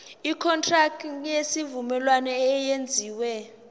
ikontraki yesivumelwano eyenziwe